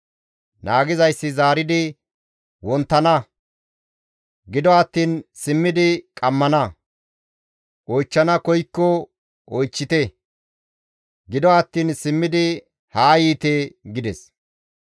Naagizayssi zaaridi, «Wonttana; gido attiin simmidi qammana; oychchana koykko oychchite; gido attiin simmidi haa yiite» gides.